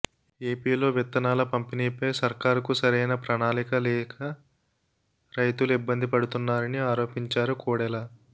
ఏపీలో విత్తనాల పంపిణీ పై సర్కారుకు సరైన ప్రణాళిక లేక రైతులు ఇబ్బందులు పడుతున్నారని ఆరోపించారు కోడెల